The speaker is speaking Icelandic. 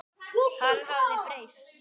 Hann hafði breyst.